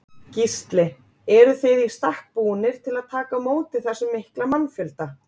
Gísli: Eruð þið í stakk búnir til að taka á móti þessum mikla mannfjölda?